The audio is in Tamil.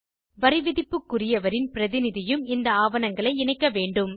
வரிவிதிப்புக்குரியவரின் பிரதிநிதியும் இந்த ஆவணங்களை இணைக்க வேண்டும்